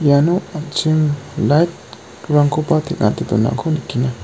iano an·ching light-rangkoba teng·ate donako nikenga.